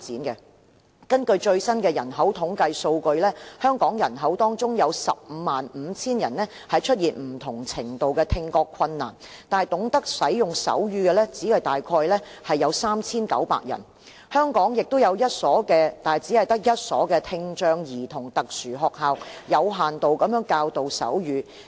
根據最新的人口統計數據，香港人口當中有 155,000 人出現不同程度的聽覺困難，但懂得使用手語的只有大約 3,900 人，而香港也只有一所聽障兒童特殊學校，有限度地教導手語。